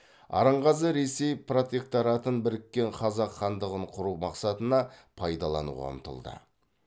арынғазы ресей протекторатын біріккен қазақ хандығын құру мақсатына пайдалануға ұмтылды